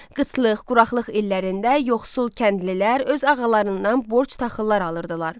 Qıtlıq, quraqlıq illərində yoxsul kəndlilər öz ağalarından borc taxıllar alırdılar.